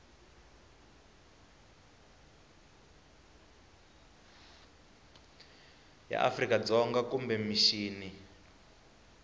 ya afrika dzonga kumbe mixini